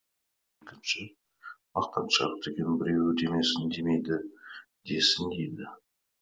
екінші мақтаншақ деген біреуі демесін демейді десін дейді